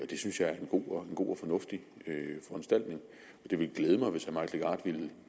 det synes jeg er en god god og fornuftig foranstaltning det ville glæde mig hvis herre mike legarth ville